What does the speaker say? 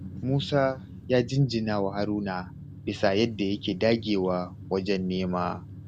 Musa ya jinjinawa Haruna bisa yadda yake dagewa wajen nema.